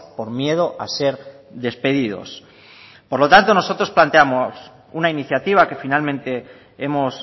por miedo a ser despedidos por lo tanto nosotros planteamos una iniciativa que finalmente hemos